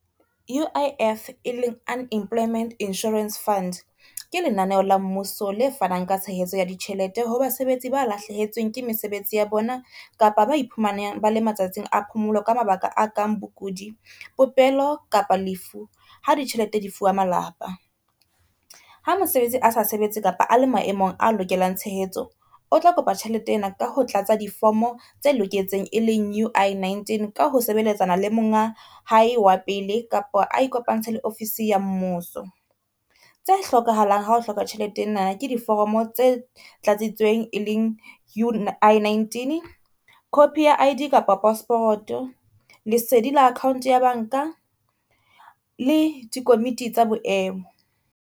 U_I_F e leng Unemployment Insurance Fund, ke lenaneho la mmuso le fanang ka tshehetso ya ditjhelete ho basebetsi ba lahlehetsweng ke mesebetsi ya bona kapa ba iphumanang bale matsatsing a phomolo ka mabaka a kang bokudi, popelo kapa lefu ha di tjhelete di fuwa malapa. Ha mosebetsi a sa sebetse kapa a le maemong a lokelang tshehetso o tla kopa tjhelete ena ka ho tlatsa difomo tse loketseng e leng U_I-19, ka ho sebeletsana le monga hae wa pele kapa a ikopantshe le ofisi ya mmuso. Tse hlokahalang ha o hloka tjhelete ena ke diforomo tse tlatsitsweng e leng U_I-19, copy ya I_D kapa passport, lesedi la account ya banka le di komiti tsa boemo,